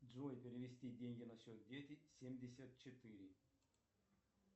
джой перевести деньги на счет дети семьдесят четыре